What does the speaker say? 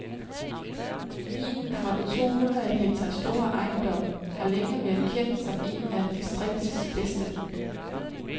Vinen fra den tohundrede hektar store ejendom har længe været kendt som en af distriktets bedste.